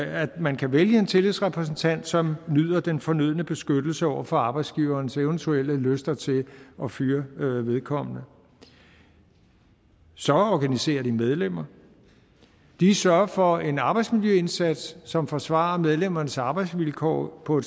at man kan vælge en tillidsrepræsentant som nyder den fornødne beskyttelse over for arbejdsgiverens eventuelle lyster til at fyre vedkommende så organiserer de medlemmer de sørger for en arbejdsmiljøindsats som forsvarer medlemmernes arbejdsvilkår på